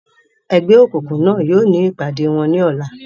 Ẹgbẹ́ òkùnkùn náà yóò ní ìpàdé wọn ní ọ̀la.